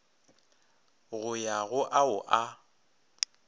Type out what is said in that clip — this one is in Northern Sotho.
go ya go ao a